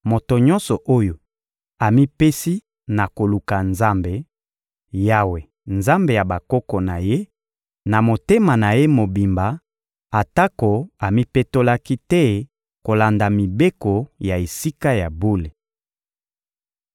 moto nyonso oyo amipesi na koluka Nzambe, Yawe, Nzambe ya bakoko na ye, na motema na ye mobimba atako amipetolaki te kolanda mibeko ya Esika ya bule!»